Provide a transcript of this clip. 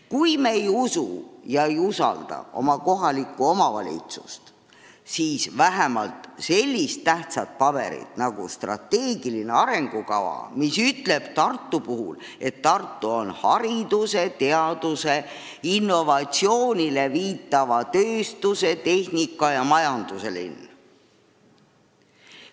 Kui me ei usu ega usalda oma kohalikku omavalitsust, siis usume vähemalt sellist tähtsat paberit nagu strateegiline arengukava, mis ütleb Tartu kohta, et Tartu on hariduse, teaduse, innovatsiooni hindava tööstuse, tehnika ja majanduse linn.